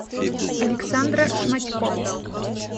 александра шматько